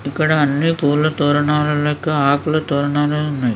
ఇక్కడ అన్ని పూల తోరణాలు లెక్క ఆకుల తోరణాలు ఉన్నాయి.